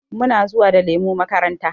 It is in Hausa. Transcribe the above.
Muna zuwa da lemu makaranta.